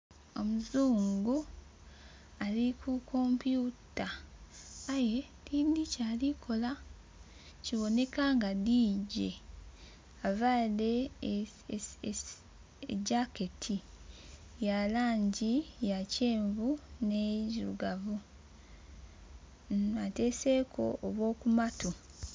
Omuzungu ali ku kompyuta aye tidhi kyali kola kiboneka nga DJ aveire e jaketi ya langi ya kyenvu ne ndhirugavu ateireku obwo ku mattu.